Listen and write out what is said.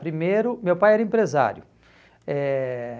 Primeiro, meu pai era empresário. Eh